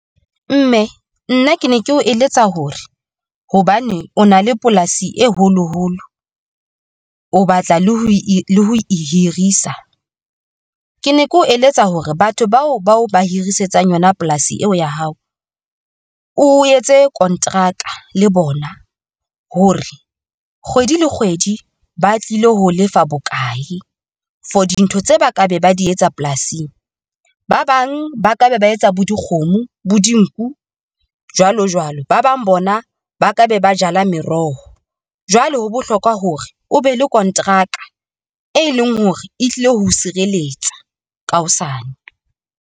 Mme nna ke ne ke o eletsa hore hobane o na le polasi e holoholo, o batla le ho e hirisa. Ke ne ke o eletsa hore batho bao ba o ba hirisetsa yona polasi eo ya hao, o etse kontraka le bona hore kgwedi le kgwedi ba tlile hoo lefa bokae for dintho tse ba ka be ba di etsa polasing, ba bang ba ka be ba etsa bo dikgomo, bo dinku jwalo jwalo, ba bang bona ba ka be ba jala meroho. Jwale ho bohlokwa hore o be le konteraka e leng hore e tlile ho sireletsa ka hosane.